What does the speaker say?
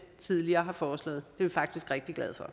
tidligere har foreslået det er vi faktisk rigtig glade for